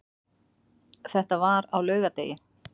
Þetta var á laugardegi.